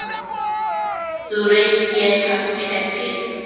Þú reykir kannski ekki?